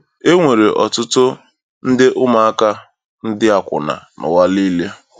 E nwere ọtụtụ nde ụmụaka ndị akwụna nụwa niile.